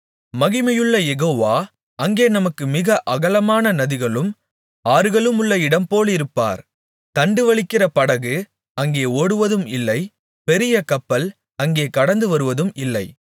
மகிமையுள்ள யெகோவா அங்கே நமக்கு மிக அகலமான நதிகளும் ஆறுகளுமுள்ள இடம் போலிருப்பார் தண்டுவலிக்கிற படகு அங்கே ஓடுவதும் இல்லை பெரிய கப்பல் அங்கே கடந்துவருவதும் இல்லை